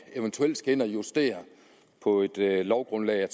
eventuelt skal ind at justere på et lovgrundlag